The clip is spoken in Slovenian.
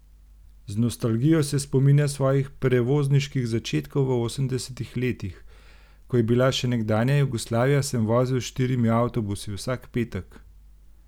Z nostalgijo se spominja svojih prevozniških začetkov v osemdesetih letih: 'Ko je bila še nekdanja Jugoslavija, sem vozil s štirimi avtobusi, vsak petek.